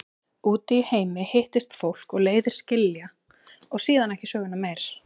Úti í heimi hittist fólk og leiðir skilja og síðan ekki söguna meir.